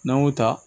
N'an y'o ta